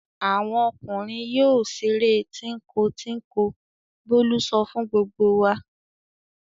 "Àwọn ọmọkùnrin yóò ṣeré tínko-tínko!" Bólú sọ fún gbogbo wa.